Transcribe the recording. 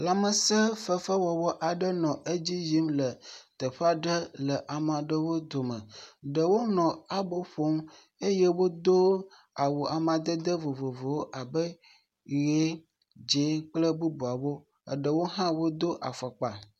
Lãmesẽ fefe aɖewo nɔ edzi yim le teƒe aɖe le ame aɖewo du me. Ɖewo nɔ abo ƒom eye wodo awu amadede vovovowo abe ʋi, dzɛ̃ kple bubuawo. Eɖewo hã wodo afɔkpa.